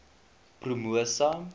promosa